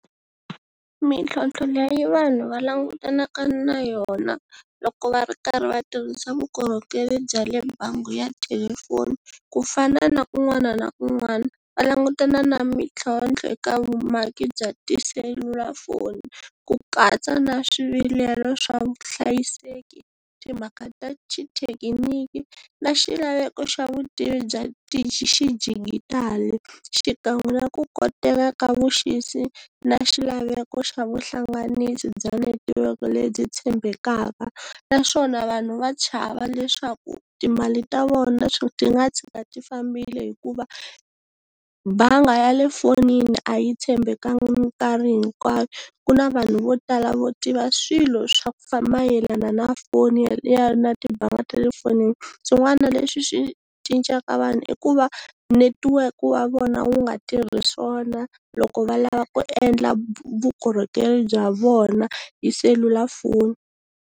Mintlhotlho leyi vanhu va langutanaka na yona loko va ri karhi va tirhisa vukorhokeri bya le bangi ya thelefoni ku fana na un'wana na un'wana va langutana na mintlhontlho eka vumaki bya tiselulafoni ku katsa na swivilelo swa vuhlayiseki, timhaka ta xithekiniki na xilaveko xa vutivi bya xidijitali xikan'we na ku koteka ka vuxisi na xilaveko xa vuhlanganisi bya netiweke lebyi tshembekaka naswona vanhu va chava leswaku timali ta vona ti nga tshika ti fambile hikuva banga ya le fonini a yi tshembekanga minkarhi hinkwayo, ku na vanhu vo tala vo tiva swilo swa ku mayelana na foni ya ya na timbanga tale efonini. Swin'wana leswi swi cincaka vanhu i ku va netiweke wa vona wu nga tirhi swona, loko va lava ku endla vukorhokeri bya vona hi selulafoni.